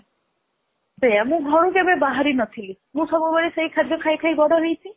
ସେଇଆ ମୁଁ ଘରୁ କେବେ ବାହାରି ନଥିଲି ମୁଁ ସବୁ ବେକେ ସେଇ ଖାଦ୍ୟ ଖାଇ ଖାଇ ବଡ ହେଇଛି